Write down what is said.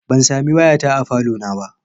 Ban sami wayata a falo na ba.